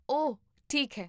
ਓ ਠੀਕ ਹੈ